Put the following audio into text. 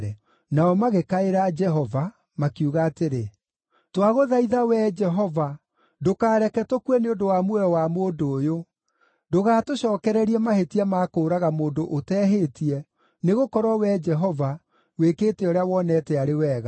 Nao magĩkaĩra Jehova makiuga atĩrĩ, “Twagũthaitha Wee Jehova, ndũkareke tũkue nĩ ũndũ wa muoyo wa mũndũ ũyũ. Ndũgatũcookererie mahĩtia ma kũũraga mũndũ ũtehĩtie, nĩgũkorwo Wee Jehova, wĩkĩte ũrĩa wonete arĩ wega.”